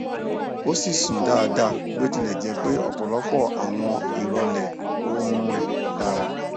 o si sun daada bi o tile je pe ọpọlọpọ awọn irọlẹ oorun rẹ dara